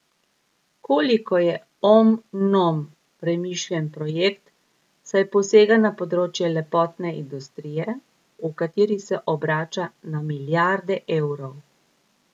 Koliko je Om Nom premišljen projekt, saj posega na področje lepotne industrije, v kateri se obrača na milijarde evrov?